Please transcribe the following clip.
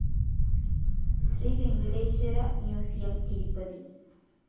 Shri Venkateswara museum, Tirupati